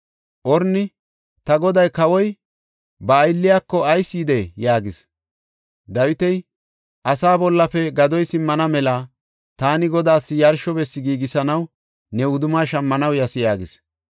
Orni, “Ta goday kawoy ba aylliyako, ayis yidee?” yaagis. Dawiti, “Asaa bollafe gadoy simmana mela taani Godaas yarsho bessi giigisanaw ne wudumma shammanaw yas” yaagis.